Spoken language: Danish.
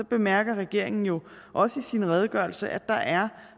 bemærker regeringen jo også i sin redegørelse at der er